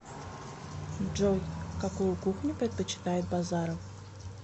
джой какую кухню предпочитает базаров